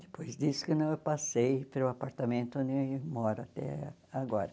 Depois disso que né eu passei para o apartamento onde eu moro até agora.